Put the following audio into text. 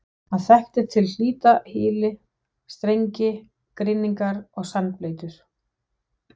Hann þekkti til hlítar hyli, strengi, grynningar og sandbleytur.